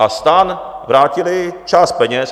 A STAN vrátili část peněz.